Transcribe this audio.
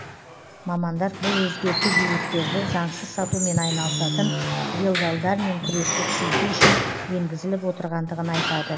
мамандар бұл өзгерту билеттерді заңсыз сатумен айналысатын делдалдармен күресті күшейту үшін енгізіліп отырғандығын айтады